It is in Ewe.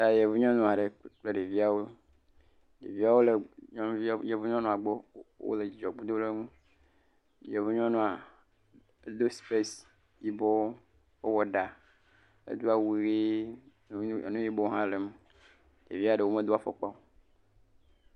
Yevu nyɔnu aɖe kple ɖeviawo. Ɖeviawo le yevu nyɔnua gbɔ wole dzidzɔ dom ɖe ŋu. Yevu nyɔnu do sipes yibɔ. Ewɔ ɖa. Edo awu ʋi, nu yibɔ hã le me. Ɖevia ɖewo medo afɔkpa o.